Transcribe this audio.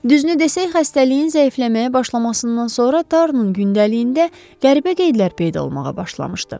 Düzünü desək xəstəliyin zəifləməyə başlamasından sonra Taronun gündəliyində qəribə qeydlər peyda olmağa başlamışdı.